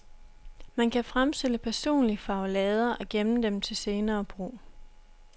Man kan fremstille personlige farvelader og gemme dem til senere brug.